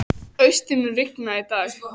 Austri, mun rigna í dag?